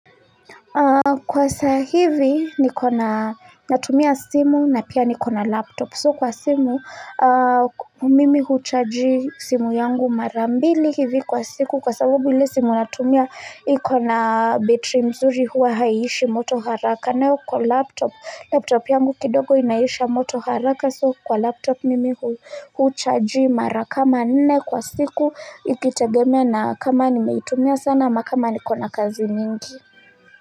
Kwa sa hivi niko na natumia simu na pia ni kona laptop so kwa simu mimi huchaji simu yangu marambili hivi kwa siku kwa sababu ile simu natumia iko na betri mzuri huwa haiishi moto haraka nayo kwa laptop laptop yangu kidogo inaisha moto haraka so kwa laptop mimi huchaji mara kama nne kwa siku ikitegemia na kama nimetumia sana ama kama niko na kazi nyingi.